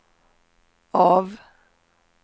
av